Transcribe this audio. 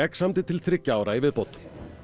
samdi til þriggja ára í viðbót